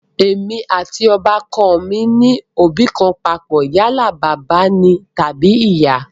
Èmi àti ọbà kan mi ní òbí kan papọ̀ yálà bàbá ni tàbí ìyá